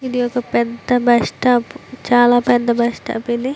ఇది ఒక పెద్ధ బస్ స్టాప్ చాలా పెద్ధ బస్ స్టాప్ ఇది.